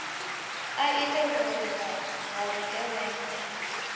a ite vhuwe ha vhugevhenga